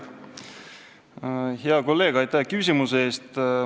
Hea kolleeg, aitäh küsimuse eest!